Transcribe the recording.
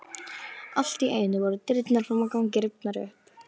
Allt í einu voru dyrnar fram á ganginn rifnar upp.